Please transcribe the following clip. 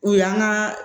O y'an ka